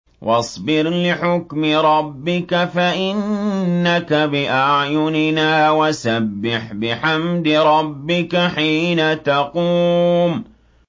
وَاصْبِرْ لِحُكْمِ رَبِّكَ فَإِنَّكَ بِأَعْيُنِنَا ۖ وَسَبِّحْ بِحَمْدِ رَبِّكَ حِينَ تَقُومُ